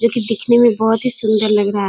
जो की देखना में बहुत सुंदर लग रहा है।